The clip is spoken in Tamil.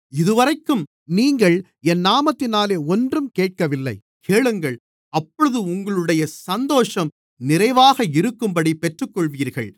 இதுவரைக்கும் நீங்கள் என் நாமத்தினாலே ஒன்றும் கேட்கவில்லை கேளுங்கள் அப்பொழுது உங்களுடைய சந்தோஷம் நிறைவாக இருக்கும்படி பெற்றுக்கொள்ளுவீர்கள்